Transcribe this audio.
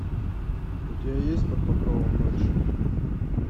у тебя есть под покровом ночи